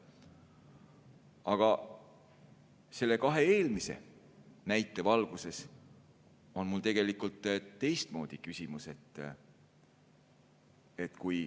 Aga kahe eelmise näite valguses on mul tegelikult teistmoodi küsimus.